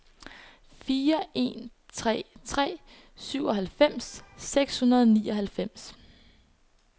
fire en tre tre syvoghalvfems seks hundrede og nioghalvfems